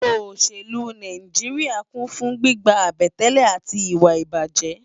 Óṣélú Náijiriá kún fún gbigbá àbẹ̀tẹ́lẹ̀ áti iwá ibájè